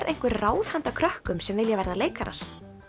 einhver ráð handa krökkum sem vilja verða leikarar